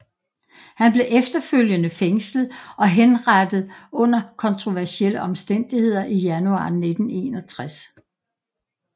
Han blev efterfølgende fængslet og henrettet under kontroversielle omstændigheder i januar 1961